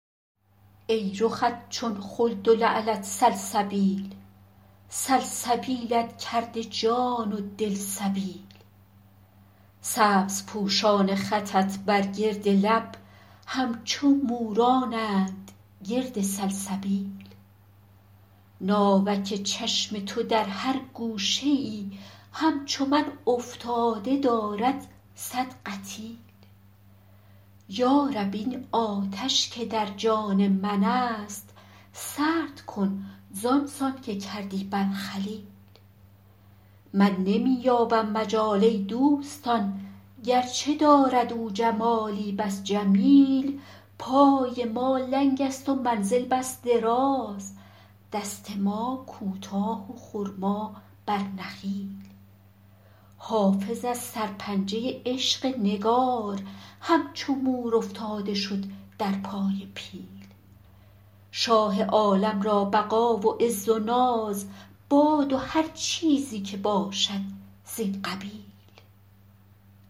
ای رخت چون خلد و لعلت سلسبیل سلسبیلت کرده جان و دل سبیل سبزپوشان خطت بر گرد لب همچو مورانند گرد سلسبیل ناوک چشم تو در هر گوشه ای همچو من افتاده دارد صد قتیل یا رب این آتش که در جان من است سرد کن زان سان که کردی بر خلیل من نمی یابم مجال ای دوستان گرچه دارد او جمالی بس جمیل پای ما لنگ است و منزل بس دراز دست ما کوتاه و خرما بر نخیل حافظ از سرپنجه عشق نگار همچو مور افتاده شد در پای پیل شاه عالم را بقا و عز و ناز باد و هر چیزی که باشد زین قبیل